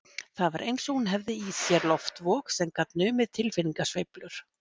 Það var eins og hún hefði í sér loftvog sem gat numið tilfinningasveiflur